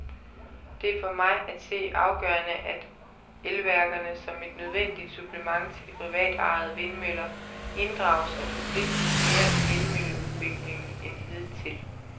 Det er for mig at se afgørende, at elværkerne, som et nødvendigt supplement til de privatejede vindmøller, inddrages og forpligtes mere i vindmølleudbygningen end hidtil.